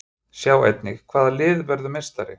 Sjá einnig: Hvaða lið verður meistari?